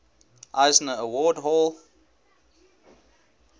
eisner award hall